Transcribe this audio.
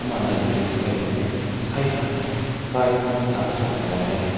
kun nai reu ni kai bam meh tai tang hai khai ni tan süwang lao bam meh.